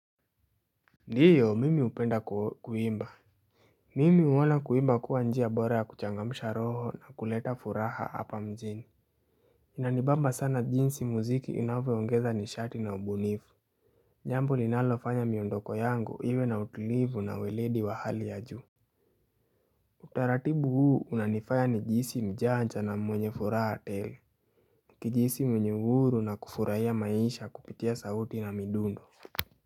Ndiyo mimi hupenda kuimba Mimi huona kuimba kuwa njia bora ya kuchangamsha roho na kuleta furaha hapa mjini Inanibamba sana jinsi muziki inavyoongeza nishati na ubunifu Jambo linalofanya miondoko yangu iwe na utulivu na weledi wa hali ya juu Utaratibu huu unanifanya nijisi mjanja na mwenye furaha tele kujihisi mwenye uhuru na kufurahia maisha kupitia sauti na midundo.